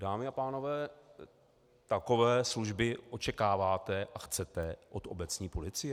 Dámy a pánové, takové služby očekáváte a chcete od obecní policie?